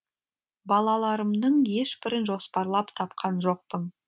балаларымның ешбірін жоспарлап тапқан жоқпын